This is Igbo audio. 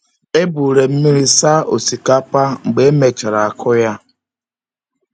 Eburu m mmiri saa osikapa mgbe e mechara akụ ya.